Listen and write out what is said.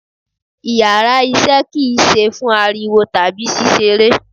Íyarà iṣẹ ki ń sẹ fún aríwó tabi sísẹ́rẹ́